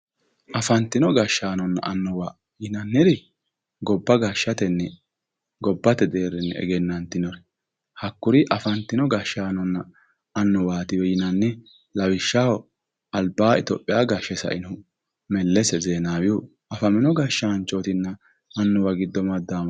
Afantino gashshaanonna annuwwa yinanniri, gobba gashshatenni gobbate deerrinni egennantinori hakkuri afantino gashshaanonna annuwwaatiwe yinanni. Lawishshaho albaa itophiya gashshe sainohu Mellese Zeenaawihu afamino gashshaanchootinna annuwwa giddo maddawama.